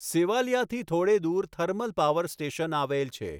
સેવાલીયાથી થોડે દૂર thermal power station આવેલ છે.